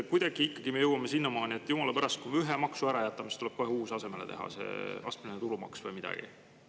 Kuidagi me ikkagi jõuame sinnamaani, et jumala pärast, kui ühe maksu ära jätame, siis tuleb kohe uus asemele teha, astmeline tulumaks või midagi.